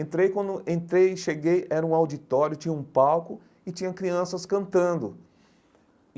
Entrei, quando entrei, cheguei, era um auditório, tinha um palco e tinha crianças cantando.